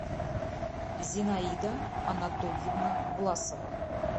зинаида анатольевна власова